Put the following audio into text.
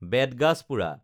বেত গাজ পোৰা